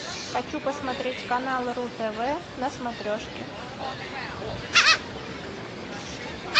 хочу посмотреть канал ру тв на смотрешке